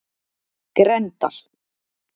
Grendal